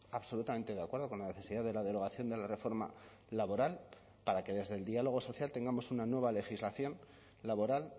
absolutamente de acuerdo con la necesidad de la derogación de la reforma laboral para que desde el diálogo social tengamos una nueva legislación laboral